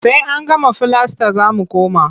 Sai an gama filasta za mu koma.